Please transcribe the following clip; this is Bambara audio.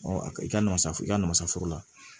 a ka i ka nasara i ka nama foro la